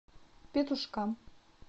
петушкам